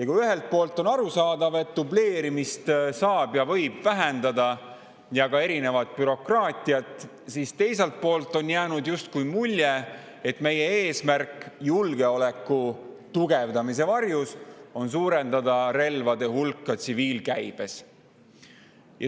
Kui ühelt poolt on see arusaadav, sest dubleerimist ja ka erinevat bürokraatiat saab ja võib vähendada, siis teiselt poolt on jäänud justkui mulje, et julgeoleku tugevdamise varjus on meie eesmärk suurendada relvade hulka tsiviilkäibes.